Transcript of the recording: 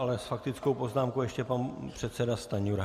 S faktickou poznámkou ještě pan předseda Stanjura.